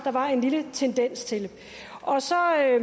var en lille tendens til og så har jeg